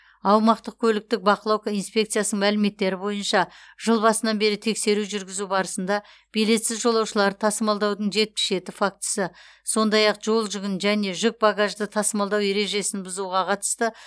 аумақтық көліктік бақылау инспекциясының мәліметтері бойынша жыл басынан бері тексеру жүргізу барысында билетсіз жолаушыларды тасымалдаудың жетпіс жеті фактісі сондай ақ жолжүгін және жүк багажды тасымалдау ережесін бұзуға қатысты